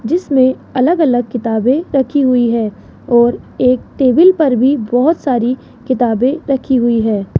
जिसमें अलग अलग किताबें रखी हुई है और एक टेबल पर भी बहुत सारी किताबें रखी हुई है।